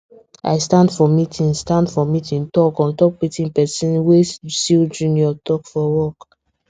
i stand for meeting stand for meeting talk on top wetin person wey still junior talk for work